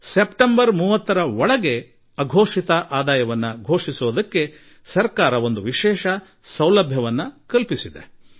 September 30ರೊಳಗೆ ಅಘೋಷಿತ ಆದಾಯ ಘೋಷಣೆಗೆ ಸರ್ಕಾರ ದೇಶದ ಮುಂದೆ ವಿಶೇಷ ಅವಕಾಶ ಕಲ್ಪಿಸಿದೆ